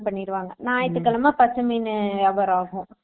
பண்ணிடுவாங்க ஞாயிற்றுக்கிழமை பசங்க வியாபாரம் ஆகும்